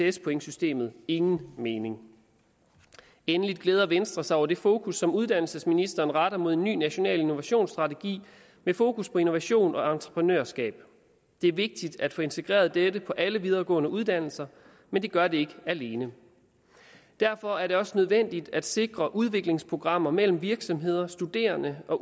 ects pointsystemet ingen mening endelig glæder venstre sig over det fokus som uddannelsesministeren retter mod en ny national innovationsstrategi med fokus på innovation og entreprenørskab det er vigtigt at få integreret dette på alle videregående uddannelser men det gør det ikke alene derfor er det også nødvendigt at sikre udviklingsprogrammer mellem virksomheder studerende og